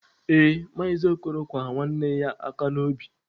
Ee, maazị okoro kwa nwanne ya aka n'obi.